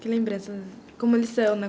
Que lembranças... Como eles são,